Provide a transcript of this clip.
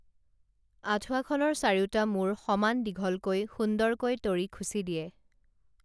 আঠুৱাখনৰ চাৰিওটা মূৰ সমান দীঘলকৈ সুন্দৰকৈ তৰি খুচি দিয়ে